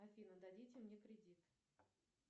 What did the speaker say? афина дадите мне кредит